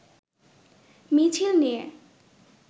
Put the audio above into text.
মিছিল নিয়ে